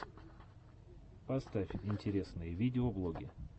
поставь интересные видеоблоги